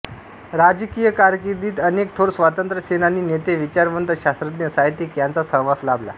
राजकीय कारकिर्दीत अनेक थोर स्वातंत्र्य सेनानी नेते विचारवंत शास्त्रज्ञ साहित्यिक यांचा सहवास लाभला